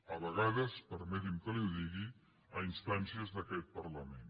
a vegades permeti’m que li ho digui a instàncies d’aquest parlament